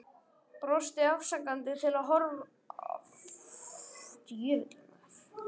Brosti afsakandi til áhorfenda allt í kring.